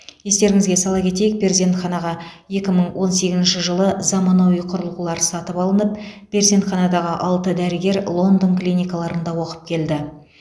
естеріңізге сала кетейік перзентханаға екі мың он сегізінші жылы заманауи құрылғылар сатып алынып перзентханадағы алты дәрігер лондон клиникаларында оқып келді